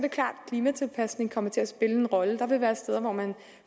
klimatilpasning kommer til at spille en rolle der vil være steder hvor man